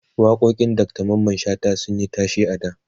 waƙoƙin Dr Mamman shata sunyi tashe a da